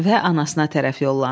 Və anasına tərəf yollandı.